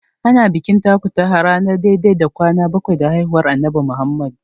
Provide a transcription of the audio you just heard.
Ana bikin takutaha ranar dai-dai da kwana bakwai da haihuwar Annabi Muhammadu.